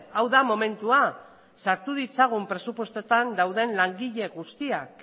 hau da momentua sartu ditzagun presupuestoetan dauden langile guztiak